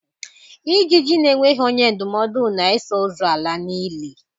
Ijiji na-enweghị onye ndụmọdụ na-eso ozu ala n'ili